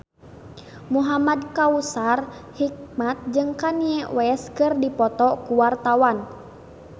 Muhamad Kautsar Hikmat jeung Kanye West keur dipoto ku wartawan